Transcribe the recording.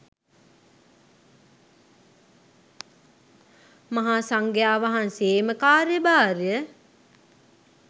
මහා සංඝයා වහන්සේ එම කාර්යභාරය